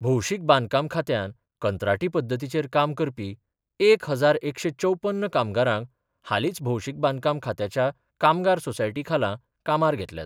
भौशिक बांदकाम खात्यान कंत्राटी पद्दतीचेर काम करपी एक हजार एकशे चौप्पन कामगारांक हालीच भौशीक बांदकाम खात्याच्या कामगार सोसायटी खाला कामार घेतल्यात.